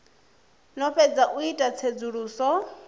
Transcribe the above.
no fhedza u ita tsedzuluso